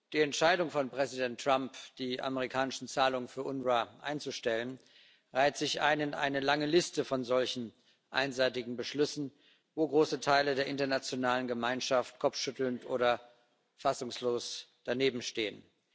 Die Entscheidung von Präsident Trump, die amerikanischen Zahlungen für das UNRWA einzustellen, reiht sich ein in eine lange Liste von solchen einseitigen Beschlüssen, wo große Teile der internationalen Gemeinschaft kopfschüttelnd oder fassungslos danebenstehen.